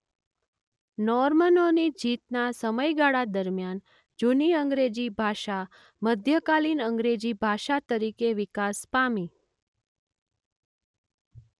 નોર્મનોની જીતના સમયગાળા દરમિયાન જૂની અંગ્રેજી ભાષા મધ્યકાલિન અંગ્રેજી ભાષા તરીકે વિકાસ પામી.